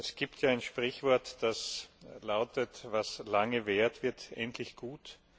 Es gibt ja ein Sprichwort, das lautet Was lange währt, wird endlich gut!